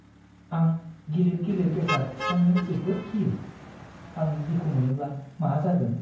आं गिलिर गिलिर बेसाद थिखांनो जोबोद गियो। आं दुखु मोनोब्ला मा जागोन?